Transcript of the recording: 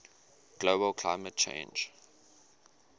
global climate change